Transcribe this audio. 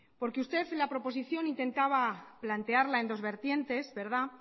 porque usted en la proposición intentaba plantearla en dos vertientes